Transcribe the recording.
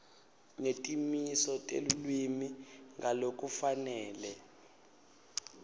netimiso telulwimi ngalokufanele